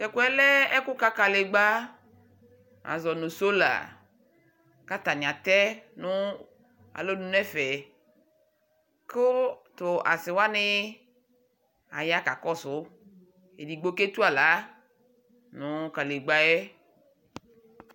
Tɛ ku yɛ lɛ ɛku ka kadegba azɔ nu solaa ku atani atɛ nu alɔnu nu ɛfɛ ku tu asiwani aya kakɔsu Edigbo ketu aɣla nu kadegba yɛ